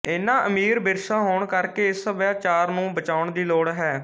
ਇਨਾਂ ਅਮੀਰ ਵਿਰਸਾ ਹੋਣ ਕਰਕੇ ਇਸ ਸਭਿਆਚਾਰ ਨੂੰ ਬਚਾਉਣ ਦੀ ਲੋੜ ਹੈ